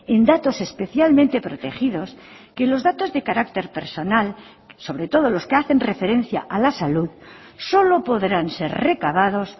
en datos especialmente protegidos que los datos de carácter personal sobre todo los que hacen referencia a la salud solo podrán ser recabados